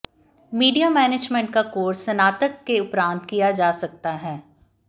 media management का course स्नातक के उपरांत किया जा सकता है